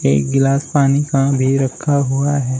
एक गिलास पानी का भी रखा हुआ है।